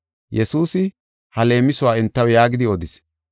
Yesuusi ha leemisuwa entaw yaagidi odis: